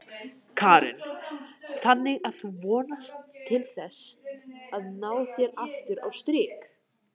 Karen: Þannig að þú vonast til þess að ná þér aftur á strik?